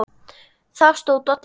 Þar stóð Doddi vel.